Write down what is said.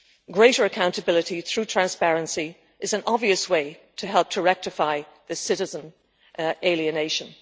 Greater accountability through transparency is an obvious way to help to rectify this citizen alienation.